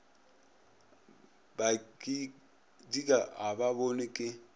badika ga ba bonwe ke